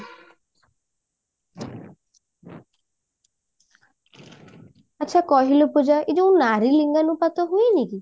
ଆଛା କହିଲୁ ପୂଜା ଏ ଯୋଉ ନାରୀନିଙ୍ଗନୁପାତ ହୁଏନି କି